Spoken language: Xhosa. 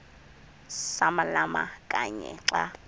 samalama kanye xa